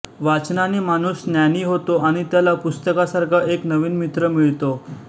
वाचनाने माणूस ज्ञानी होतो आणि त्याला पुस्तकासारखा एक नवीन मित्र मिळतो